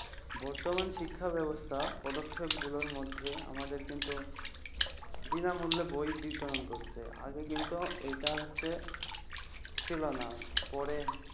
বর্তমান শিক্ষা ব্যবস্থা পদক্ষেপ গুলোর মধ্যে আমাদের কিন্তু বিনামূল্যে বই বিতরণ করছে আগে কিন্তু এটা হচ্ছে ছিল না পরে